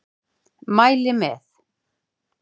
Mæli með.